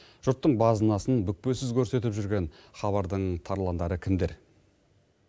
жұрттың базынасын бүкпесіз көрсетіп жүрген хабардың тарландары кімдер